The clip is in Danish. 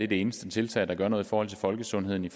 det eneste tiltag der gør noget for folkesundheden i